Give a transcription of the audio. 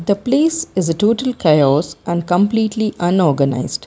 the place is a total chaos and completely unorganised.